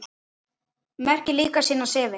Merkir líka sinni sefi.